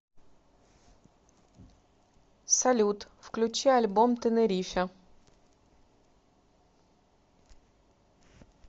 салют включи альбом тенерифе